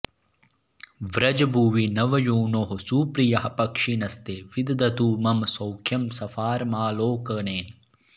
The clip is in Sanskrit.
व्रजभुवि नवयूनोः सुप्रियाः पक्षिणस्ते विदधतु मम सौख्यं स्फारमालोकनेन